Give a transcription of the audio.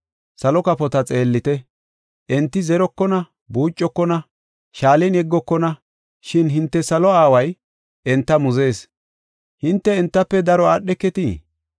Salo kafota xeellite; enti zerokona, buucokona, shaalen yeggokona, shin hinte salo aaway enta muzees. Hinte entafe daro aadheketii?